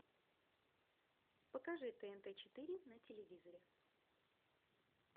покажи тнт четыре на телевизоре